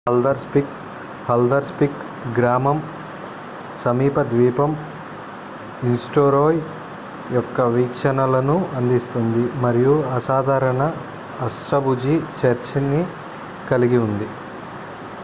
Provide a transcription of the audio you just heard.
Haldarsvik గ్రామం సమీప ద్వీపం ఐస్టూరోయ్ యొక్క వీక్షణలను అందిస్తుంది మరియు అసాధారణ అష్టభుజి చర్చిని కలిగి ఉంది